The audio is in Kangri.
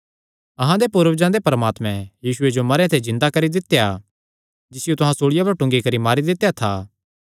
अहां दे पूर्वजां दे परमात्मैं यीशुये जो मरेयां ते जिन्दा करी दित्या जिसियो तुहां सूल़िया पर टूंगी करी मारी दित्या था